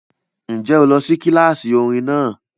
Ǹjẹ́ o lọ sí kíláàsì orin náà?